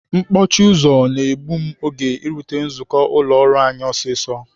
Mkpọchi ụzọ na-egbu m oge irute nzukọ ụlọ ọrụ anyị ọsịsọ.